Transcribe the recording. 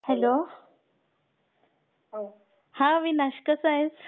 Hello हा अविनाश कसा आहेस?